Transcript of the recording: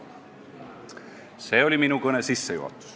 " See oli minu kõne sissejuhatus.